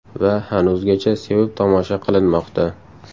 Va hanuzgacha sevib tomosha qilinmoqda.